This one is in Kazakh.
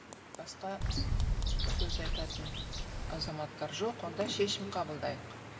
басқа сөз айтатын азаматтар жоқ онда шешім қабылдайық